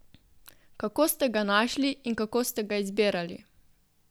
Kako ste ga našli in kako ste ga izbirali?